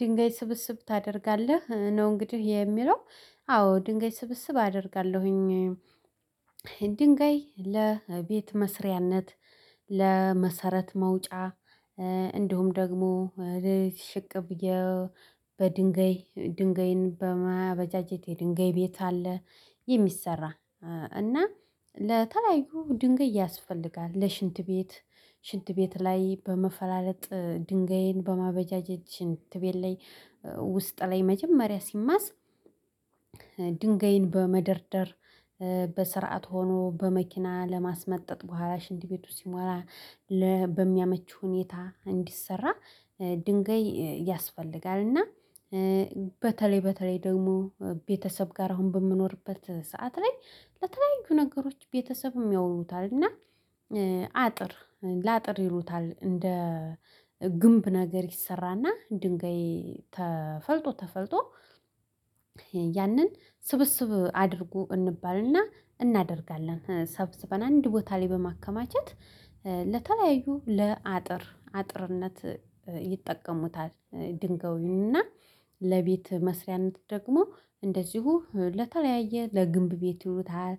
ድንጋይ ስብስብ ታደርጋለህ ነው እንግዲህ የሚለው? አዎ ድንገት ስብስብ አደርጋለሁኝ የድንጋይ ለቤት መስሪያነት ለመሰረት መውጫ እንዲሁም ደግሞ ሽቅብ በድንገይ ድንገይን በማበጃጀቴ ድንጋይ ቤት አለ። የሚሰራ እና ለተለያዩ ድንጋይ ያስፈልጋል ለሽንት ቤት። ሽንት ቤት ላይ በመፈላለጥ ድንጋይን በማበጃጀት ሽንት ቤት ላይ ውስጥ ላይ መጀመሪያ ሲማስ ድንጋይን በመደርደር በስርዓት ሆኖ በመኪና ለማስመጠጥ በኋላ ሽንድ ቤቱ ሲሞራ በሚያመች ሁኔታ እንዲሰራ ድንገይ ያስፈልጋል። እና በተለይ በተለይ ደግሞ ቤተሰብ ጋር አሁን በምኖርበት ሰዓት ላይ ለተለያዩ ነገሮች ቤተሰብም ያውሉታል እና። አጥር ለአጥር ይሉታል እንደ ግንብ ነገር ይሰራና ድንጋይ ተፈልጦ ተፈልጦ ያንን ስብስብ አድርጎ እንባልና እናደርጋለን ሰብስበናል አንድ ቦታ ላይ በማከማቸት ለተለያዩ ለአጥር አጥርነት ይጠቀሙታል። ድንጋዩንና ለቤት መስሪያነት ደግሞ እንደዚሁ ለተለያየ ለግንብ ቤት ይሉታል።